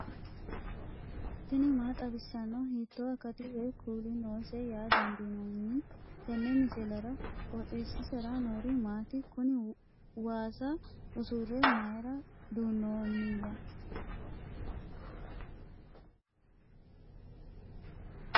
tini maa xawissanno ? hiitto akati woy kuuli noose yaa dandiinanni tenne misilera? qooxeessisera noori maati? kuni waasa usurre mayra duunnoonniya ?